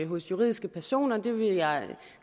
hos juridiske personer det vil jeg